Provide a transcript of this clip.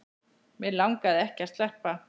Mig langaði ekki að sleppa.